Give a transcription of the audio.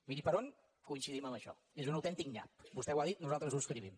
miri per on coincidim en això és un autèntic nyap vostè ho ha dit nosaltres ho subscrivim